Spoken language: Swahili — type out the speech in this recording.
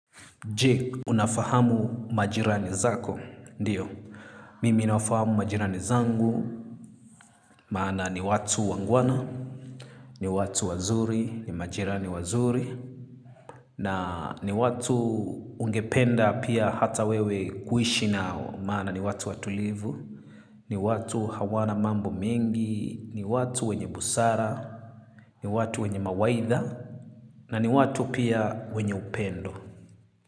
Je, unafahamu majirani zako? Ndiyo, mimi nawafahamu majirani zangu, maana ni watu wangwana, ni watu wazuri, ni majirani wazuri, na ni watu ungependa pia hata wewe kuishi nao maana ni watu watulivu ni watu hawana mambo mengi ni watu wenye busara ni watu wenye mawaidha na ni watu pia wenye upendo.